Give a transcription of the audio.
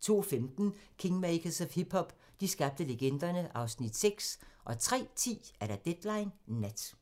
02:15: Kingmakers of hip-hop - de skabte legenderne (Afs. 6) 03:10: Deadline Nat